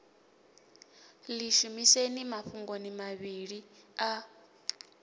ḽi shumiseni mafhungoni mavhili a